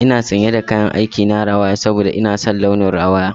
Ina sanye da kayan aik na rawaya saboda ina son launin rawaya.